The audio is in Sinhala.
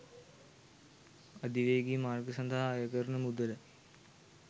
අධිවේගී මාර්ග සඳහා අය කරන මුදල